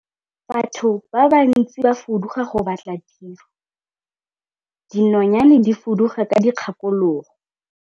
Batho ba bantsi ba fuduga go batla tiro, dinonyane di fuduga ka dikgakologo.